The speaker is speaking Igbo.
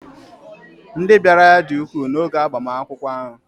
ndị bịara ya dị ukwuu n'oge agbamakwụkwọ ahụ